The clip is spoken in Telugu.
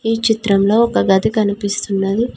ఈ చిత్రంలో ఒక గది కనిపిస్తున్నది.